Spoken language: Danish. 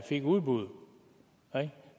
fik udbudet og det